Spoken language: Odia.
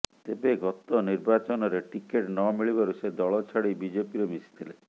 ତେବେ ଗତ ନିର୍ବାଚନରେ ଟିକେଟ୍ ନ ମିଳିବାରୁ ସେ ଦଳ ଛାଡ଼ି ବିଜେପିରେ ମିଶିଥିଲେ